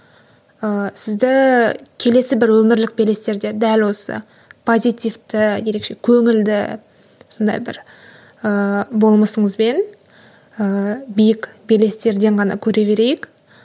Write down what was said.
ыыы сізді келесі бір өмірлік белестерде дәл осы позитивті ерекше көңілді сондай бір ыыы болмысыңызбен ыыы биік белестерден ғана көре берейік